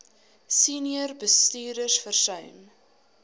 senior bestuurders versuim